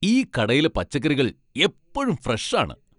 ഈ കടയിലെ പച്ചക്കറികൾ എപ്പഴും ഫ്രഷ് ആണ് !